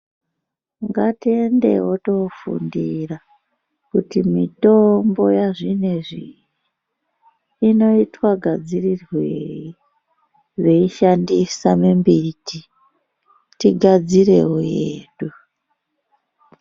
Ngatiendewo kofundira kuti mitombo yazvinezvi iyi inoitwa gadzirirwei veishandisa mimbiti tigadzirewo yedu.